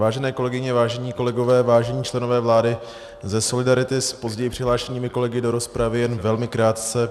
Vážené kolegyně, vážení kolegové, vážení členové vlády, ze solidarity s později přihlášenými kolegy do rozpravy jen velmi krátce.